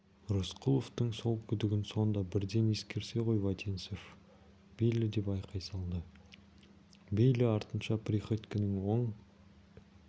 рысқұловтың сол күдігін сонда бірден ескерсе ғой вотинцев бейли деп айқай салды бейли артынша приходьконың оң